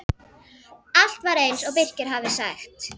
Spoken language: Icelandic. Allt var eins og Birkir hafði sagt.